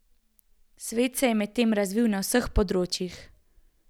Svet se je medtem razvil na vseh področjih.